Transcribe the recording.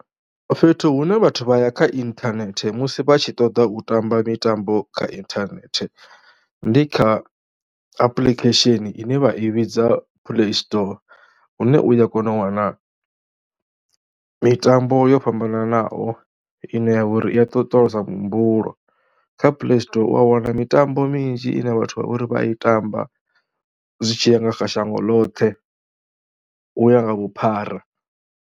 Fhethu hune vhathu vha ya kha inthanethe musi vha tshi ṱoḓa u tamba mitambo kha inthanethe ndi kha apuḽikhesheni ine vha i vhidza Playstore hune u ya kona u wana mitambo yo fhambananaho ine ya vha uri i a ṱoṱolosa muhumbulo. Kha Playstore u ya wana mitambo minzhi ine vhathu vha vha uri vha ya i tamba zwi tshi ya nga kha shango ḽoṱhe u ya nga vhuphara.